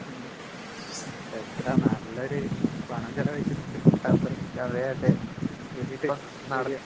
ഉം ഉം. എത്ര നല്ലൊരു പണം ചെലവഴിച്ചിട്ട്ണ്ട് ഖത്തറ്. ശെരിയാ.